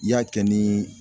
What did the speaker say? I y'a kɛ ni